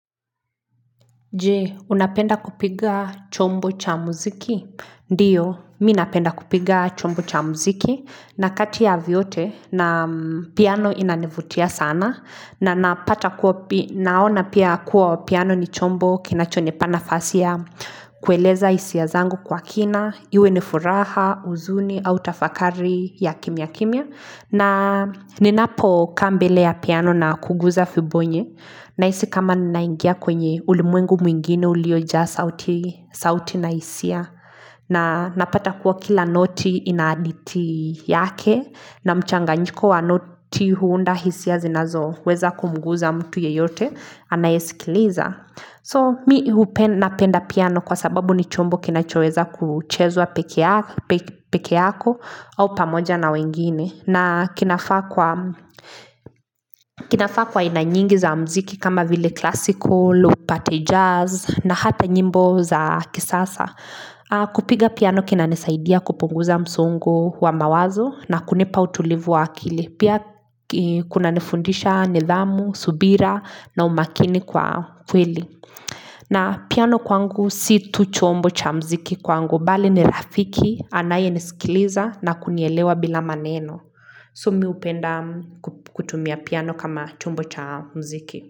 Je, unapenda kupiga chombo cha muziki? Ndiyo, minapenda kupiga chombo cha muziki na kati ya vyote na piano inanivutia sana na naona pia kuwa piano ni chombo kinachonipa nafasi ya kueleza hisia zangu kwa kina, iwe nifuraha, huzuni, au tafakari ya kimya kimya. Na ninapo kaa mbele ya piano na kuguza fibonye na hisi kama ninaingia kwenye ulimwengu mwingine uliojaa sauti na hisia na napata kuwa kila noti inahadithi yake na mchanga nyiko wa noti huunda hisia zinazo weza kumnguza mtu yeyote anayesikiliza So mi napenda piano kwa sababu ni chombo kinachoweza kuchezwa peke yako au pamoja na wengine na kinafaa kwa aina nyingi za muziki kama vile klasiko, upate jazz na hata nyimbo za kisasa. Kupiga piano kina nisaidia kupunguza msongo wa mawazo na kunipa utulivu wa akili. Pia kuna nifundisha nidhamu, subira na umakini kwa kweli. Na piano kwangu si tu chombo cha muziki kwangu, bali ni rafiki, anayenisikiliza na kunielewa bila maneno. So mi hupenda kutumia piano kama chombo cha muziki.